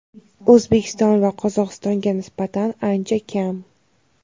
O‘zbekiston va Qozog‘istonga nisbatan ancha kam.